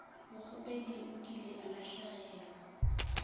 mokgopedi o kile a lahlegelwa